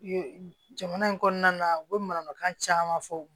Jamana in kɔnɔna na u bɛ mananakan caman fɔ